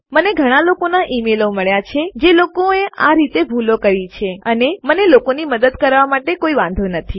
મને ઘણા લોકોના ઈમેઈલો મળ્યા છે જે લોકોએ આ રીતે ભૂલો કરી છે અને મને લોકોની મદદ કરવા માટે કોઈ વાંધો નથી